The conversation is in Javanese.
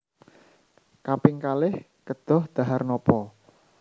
Kaping kalih kedah dhahar nopo